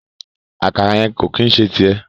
Àkàrà yẹn ko ki n ṣe tiẹ.